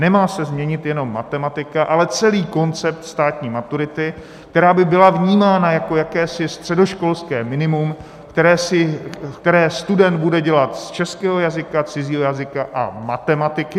Nemá se změnit jenom matematika, ale celý koncept státní maturity, která by byla vnímána jako jakési středoškolské minimum, které student bude dělat z českého jazyka, cizího jazyka a matematiky.